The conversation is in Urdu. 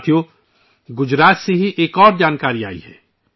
ساتھیو، گجرات سے ہی ایک اور خبر سامنے آئی ہے